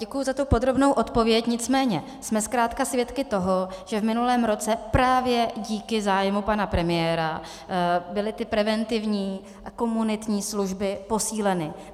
Děkuji za tu podrobnou odpověď, nicméně jsme zkrátka svědky toho, že v minulém roce právě díky zájmu pana premiéra byly ty preventivní a komunitní služby posíleny.